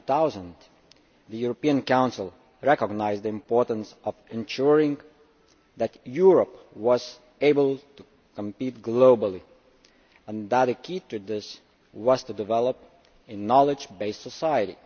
Back in 2000, the European Council recognized the importance of ensuring that Europe was able to compete globally, and that a key to this was to develop a knowledge based society.